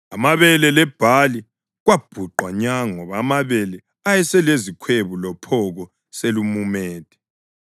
(Amabele lebhali kwabhuqwa nya ngoba amabele ayeselezikhwebu lophoko selumumethe.